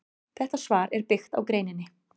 Þetta svar er byggt á greininni.